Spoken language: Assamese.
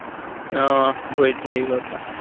আহ ভৰিত হেৰি হোৱাৰ পৰা